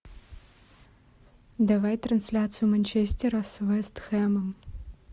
давай трансляцию манчестера с вест хэмом